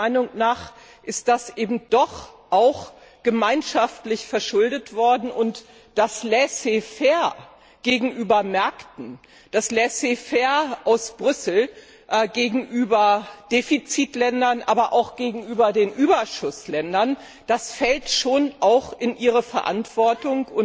Meiner Meinung nach ist das eben doch auch gemeinschaftlich verschuldet worden, und das Laissez faire gegenüber Märkten, das Laissez faire aus Brüssel gegenüber Defizitländern, aber auch gegenüber den Überschussländern, das fällt schon auch in Ihre Verantwortung.